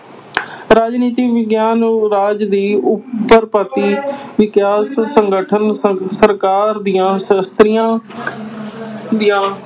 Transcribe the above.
ਰਾਜਨੀਤੀ ਵਿਗਿਆਨ ਰਾਜ ਦੀ ਉਤਪੱਤੀ ਵਿਕਾਸ, ਸੰਗਠਨ, ਸ ਸਰਕਾਰ ਦੀਆਂ ਸ਼ਸਤਰੀਆਂ ਦੀਆਂ